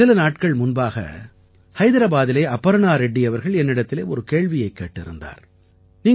சில நாட்கள் முன்பாக ஹைதராபாத்திலே அபர்ணா ரெட்டி அவர்கள் என்னிடத்தில் ஒரு கேள்வியைக் கேட்டிருந்தார்